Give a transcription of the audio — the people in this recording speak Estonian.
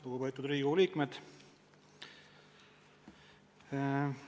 Lugupeetud Riigikogu liikmed!